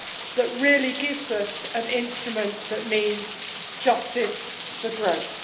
that really gives us an instrument which means justice for growth.